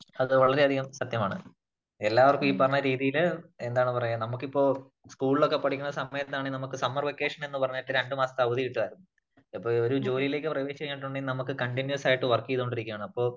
അത് വളരെ അധികം സത്യമാണ്. എല്ലാവർക്കും ഈ പറഞ്ഞ രീതിയില് എന്താണ് പറയാ നമുക്കിപ്പോ സ്കൂളിലൊക്കെ പഠിക്കുന്ന സമയത്താണെങ്കില് നമുക്ക് സമ്മർ വെക്കേഷൻ എന്ന് പറഞ്ഞിട്ട് രണ്ടു മാസത്തെ അവധി കിട്ടുമായിരുന്നു. അപ്പോ ഒരു ജോലിയിലേക്ക് പ്രവേശിച്ചു കഴിഞിട്ടുണ്ടെങ്കിൽ നമുക്ക് കണ്ടിനയുസ് ആയിട്ട് വർക്ക് ചെയ്തു കൊണ്ടിരിക്കുകയാണ് അപ്പോ